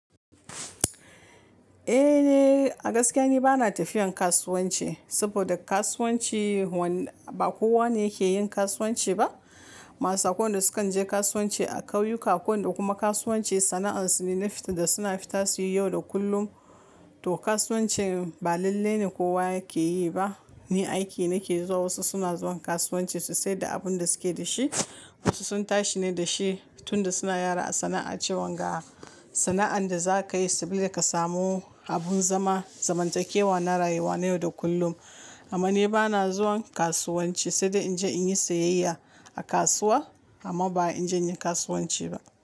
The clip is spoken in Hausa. Ehhh, a gaskiya ni bana tafiyan kasuwanci saboda kasuwanci ba kowa ne yake yin kasuwanci ba. Masu akwai waɗanda sukan je kasuwanci a kauyuka, akwai waɗanda kuma kasuwanci sana'ansu ne na fita da suna fita su yi yau da kullum. To kasuwancin ba lalle ne kowa yake yi ba. Ni aiki nake zuwa, wasu suna zuwan kasuwanci su saida abin da suke da shi, wasu sun tashi ne da shi tunda suna yara a sana'a cewan ga sana'an da za ka yi saboda ka samu abin zama, zamantakewa na rayuwa na yau da kullum. Amma ni bana zuwan kasuwanci saida in je in yi sayayya a kasuwa amma ba in je in yi kasuwanci ba.